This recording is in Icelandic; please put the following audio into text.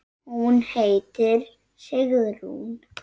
Hún heitir Sigrún.